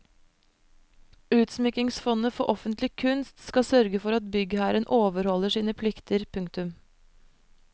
Utsmykkingsfondet for offentlig kunst skal sørge for at byggherren overholder sine plikter. punktum